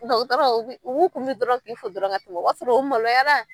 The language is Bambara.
N tɛ u t'a ron, u b'u kun biri dɔrɔn k'i fo dɔrɔn ka tɛmɛ, o b'a sɔrɔ u maloyara.